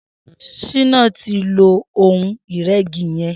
Shina ti ló óhùn-irẹ̀gí yẹ̀n